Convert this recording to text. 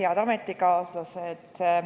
Head ametikaaslased!